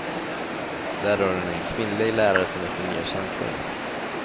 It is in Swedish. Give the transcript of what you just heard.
Där har hon en kvinnlig lärare som väcker nya känslor.